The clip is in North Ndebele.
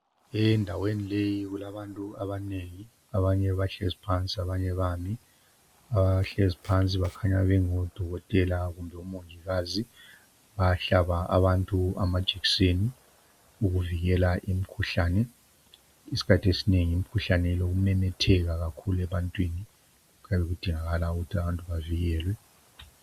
Endaweni leyi kulabantu abanengi. Abanye bahlezi phansi abanye bamile. Abahlezi phansi bakhanya bengodokotela kumbe omongikazi bayahlaba abantu amajekiseni ukuvikela imikhuhlane. Isikhathi esinengi imikhuhlane ilokumemetheka kakhulu ebantwini kuyabe kudingakala ukuthi abantu bavikelwe